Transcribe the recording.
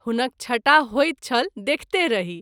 हुनक छटा होइत छल देखिते रही।